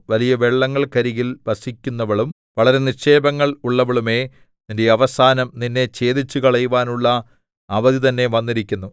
വലിയ വെള്ളങ്ങൾക്കരികിൽ വസിക്കുന്നവളും വളരെ നിക്ഷേപങ്ങൾ ഉള്ളവളുമേ നിന്റെ അവസാനം നിന്നെ ഛേദിച്ചുകളയുവാനുള്ള അവധി തന്നെ വന്നിരിക്കുന്നു